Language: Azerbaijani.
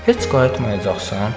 Heç qayıtmayacaqsan?